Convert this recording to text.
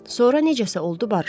Sonra necəsə oldu, barışdılar.